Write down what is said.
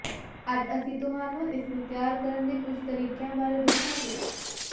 ਅੱਜ ਅਸੀਂ ਤੁਹਾਨੂੰ ਇਸ ਨੂੰ ਤਿਆਰ ਕਰਨ ਦੇ ਕੁੱਝ ਤਰੀਕਿਆਂ ਬਾਰੇ ਦੱਸਾਂਗੇ